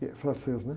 que é francês, né?